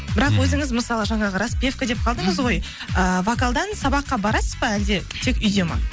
бірақ өзіңіз мысалы жаңағы распевка деп қалдыңыз ғой ыыы вокалдан сабаққа барасыз ба әлде тек үйде ма